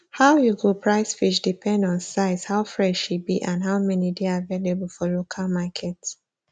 how you go price fish depend on size how fresh e be and how many dey available for local market